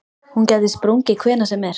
Hún gæti sprungið hvenær sem er.